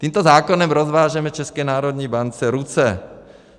Tímto zákonem rozvážeme České národní bance ruce.